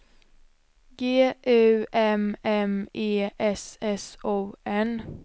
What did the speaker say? G U M M E S S O N